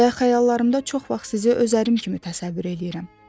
Və xəyallarımda çox vaxt sizi öz ərim kimi təsəvvür eləyirəm.